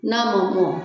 N'a ma mɔ